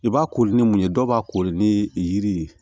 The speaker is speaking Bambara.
I b'a kori ni mun ye dɔw b'a kori ni yiri ye